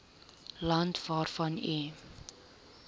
land waarvan u